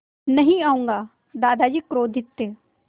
नहीं आऊँगा दादाजी क्रोधित थे